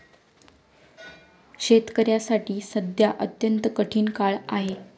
शेतकऱ्यांसाठी सध्या अत्यंत कठीण काळ आहे.